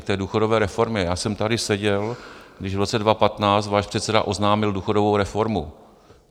K té důchodové reformě - já jsem tady seděl, když v roce 2015 váš předseda oznámil důchodovou reformu.